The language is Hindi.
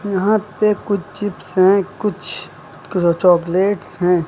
यहां पे कुछ चिप्स हैं कुछ क चॉकलेट्स हैं।